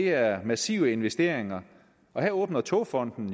er massive investeringer og her åbner togfonden